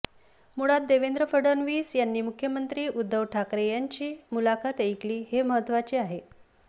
मुळात देवेंद्र फडणवीस यांनी मुख्यमंत्री उद्धव ठाकरे यांची मुलाखत ऐकली हे महत्त्वाचे आहे